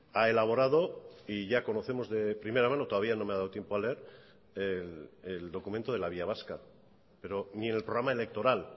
ha elaborado y ya conocemos de primera mano todavía no me ha dado tiempo a leer el documento de la vía vasca pero ni en el programa electoral